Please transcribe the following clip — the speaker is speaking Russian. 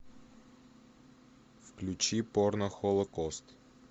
включи порно холокост